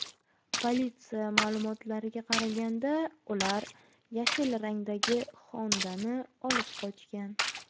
Politsiya ma’lumotlariga qaraganda, ular yashil rangdagi Honda’ni olib qochgan.